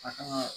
A kan ka